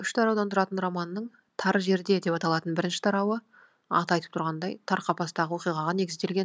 үш тараудан тұратын романның тар жерде деп аталатын бірінші тарауы аты айтып тұрғандай тар қапастағы оқиғаға негізделген